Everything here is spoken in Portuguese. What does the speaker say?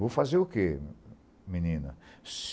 Vou fazer o que, menina?